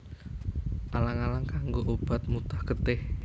Alang alang kanggo obat mutah getih